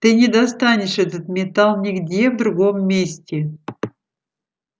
ты не достанешь этот металл нигде в другом месте